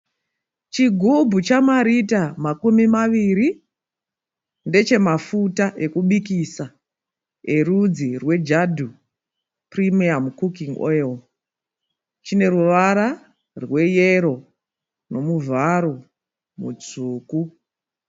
Chigumbu chamarita makumi maviri. Ndechemafuta ekubikisa erudzi rweJADU Premium Cooking Oil. Chine ruvara rweyero nemuvharo mutsvuku.